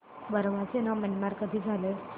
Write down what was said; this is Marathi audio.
बर्मा चे नाव म्यानमार कधी झाले